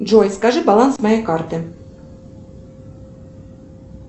джой скажи баланс моей карты